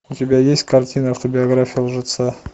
у тебя есть картина автобиография лжеца